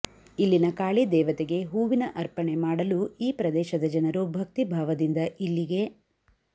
ಇಲ್ಲಿನ ಕಾಳಿ ದೇವತೆಗೆ ಹೂವಿನ ಅರ್ಪಣೆ ಮಾಡಲು ಈ ಪ್ರದೇಶದ ಜನರು ಭಕ್ತಿ ಭಾವದಿಂದ ಇಲ್ಲಿಗೆ